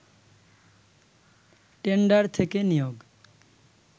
tender থেকে নিয়োগ